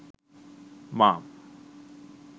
mom